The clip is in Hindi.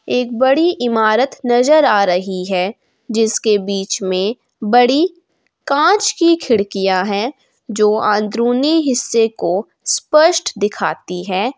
एक बड़ी इमारत नजर आ रही है जिसके बीच में बड़ी कांच की खिड़कियां है जो अंदरूनी हिस्से को स्पष्ट दिखाती है।